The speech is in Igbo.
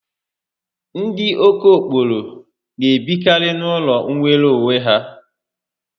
Ndi okokporo n'ebikari n'ulo nwere onwe ya